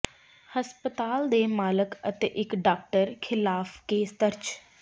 ਹਸਪਤਾਲ ਦੇ ਮਾਲਕ ਅਤੇ ਇਕ ਡਾਕਟਰ ਿਖ਼ਲਾਫ਼ ਕੇਸ ਦਰਜ